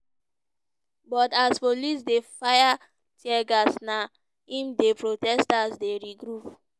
but as police dey fire teargas na im di protesters dey regroup.